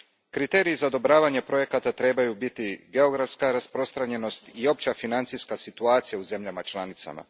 Kriteriji za odobravanje projekata trebaju biti geografska rasprostranjenost i opća financijska situacija u zemljama članicama.